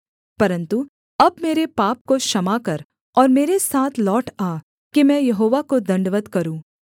परन्तु अब मेरे पाप को क्षमा कर और मेरे साथ लौट आ कि मैं यहोवा को दण्डवत् करूँ